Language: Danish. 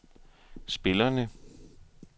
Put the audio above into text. spillerne